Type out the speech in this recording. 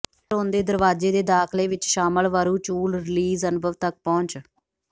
ਲਾ ਰੋਂਦੇ ਦਰਵਾਜ਼ੇ ਦੇ ਦਾਖਲੇ ਵਿਚ ਸ਼ਾਮਲ ਵਰੁਚੁਅਲ ਰੀਲੀਜ਼ ਅਨੁਭਵ ਤੱਕ ਪਹੁੰਚ